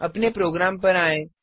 अपने प्रोग्राम पर आएँ